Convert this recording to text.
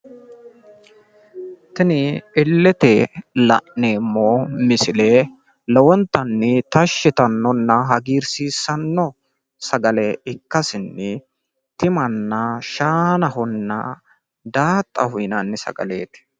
Tini illete la'neemmo misile lowontanni tashshi yitanno Sagale ikkasenni insano Tima, Shaananna daaxa yinanni sagaleeti.